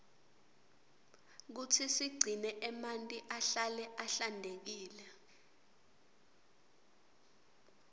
kutsi sigcine emanti ahlale ahlantekile